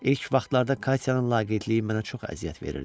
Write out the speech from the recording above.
İlk vaxtlarda Katyanın laqeydliyi mənə çox əziyyət verirdi.